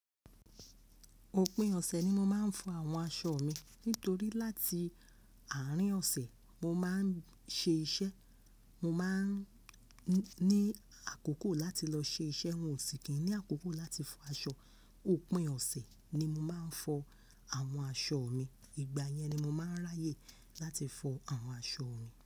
Òpin ọ̀sẹ̀ ni mo máa ń fọ àwọn aṣọ mi. Nítorí láti àárín ọ̀sẹ̀, mo máa ń ṣe iṣẹ́. Mo máa ń ní àkókò láti lọ ṣe iṣẹ́, mi ò sì kí ń ní àkókò láti fọ aṣọ. Òpin ọ̀sẹ̀ ni mo máa ń fọ àwọn aṣọ mi. Ìgbà yẹn ni mo máa ń ráyè láti fọ àwọn aṣọ mi.